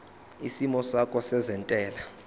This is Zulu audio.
isimo sakho sezentela